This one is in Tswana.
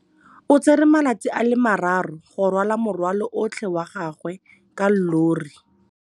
O tsere malatsi a le marraro go rwala morwalo otlhe wa gagwe ka llori.